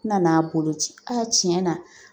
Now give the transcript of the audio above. N nan'a boloci a tiɲɛ na